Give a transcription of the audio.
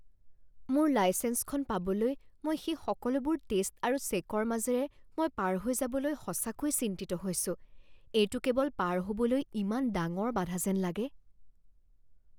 মোৰ লাইছেঞ্চখন পাবলৈ মই সেই সকলোবোৰ টেষ্ট আৰু চে'কৰ মাজেৰে মই পাৰ হৈ যাবলৈ সঁচাকৈয়ে চিন্তিত হৈছো। এইটো কেৱল পাৰ হ'বলৈ ইমান ডাঙৰ বাধা যেন লাগে।